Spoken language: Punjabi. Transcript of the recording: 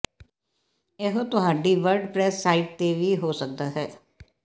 ਇਹੋ ਤੁਹਾਡੀ ਵਰਡਪਰੈਸ ਸਾਈਟ ਤੇ ਵੀ ਹੋ ਸਕਦਾ ਹੈ